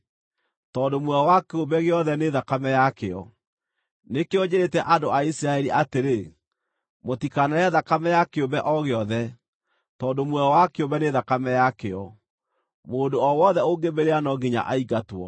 tondũ muoyo wa kĩũmbe gĩothe nĩ thakame yakĩo. Nĩkĩo njĩrĩĩte andũ a Isiraeli atĩrĩ, “Mũtikanarĩe thakame ya kĩũmbe o gĩothe, tondũ muoyo wa kĩũmbe nĩ thakame yakĩo; mũndũ o wothe ũngĩmĩrĩa no nginya aingatwo.”